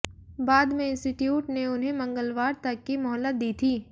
बाद में इंस्टिट्यूट ने उन्हें मंगलवार तक की मोहलत दी थी